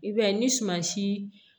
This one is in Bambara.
I b'a ye ni sumansi